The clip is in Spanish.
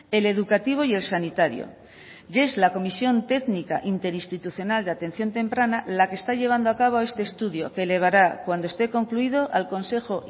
el educativo y el sanitario y es la comisión técnica interinstitucional de atención temprana la que está llevando a cabo este estudio que elevará cuando esté concluido al consejo